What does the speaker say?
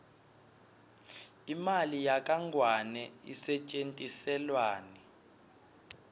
imali yakangluane isetjentiselwani